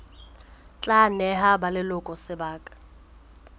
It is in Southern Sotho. tla neha ba leloko sebaka